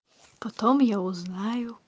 потом я узнаю